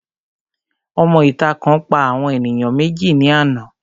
Òmọ ìta kan pa àwọn ènìyàn méjì ní àná